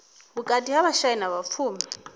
vhukati ha vhashai na vhapfumi